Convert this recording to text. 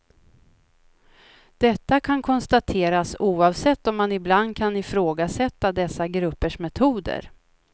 Detta kan konstateras oavsett om man ibland kan ifrågasätta dessa gruppers metoder.